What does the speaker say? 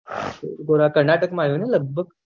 થોડા કર્નાટક માં આયો ને લગભગ